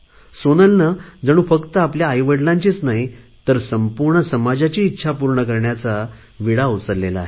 सोनलने जणू फक्त आपल्या आईवडिलांची नाही तर संपूर्ण समाजाची इच्छा पूर्ण करण्याचा जणू विडा उचलला आहे